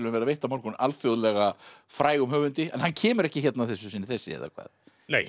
verða veitt á morgun alþjóðlega frægum höfundi en hann kemur ekki hérna að þessu sinni þessi eða hvað nei